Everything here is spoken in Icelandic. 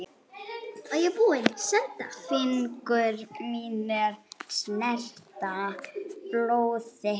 Fingur mínir snerta blóð þitt.